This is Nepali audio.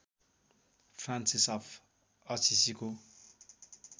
Francis of असिसीको